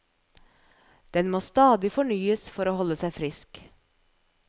Den må stadig fornyes for å holde seg frisk.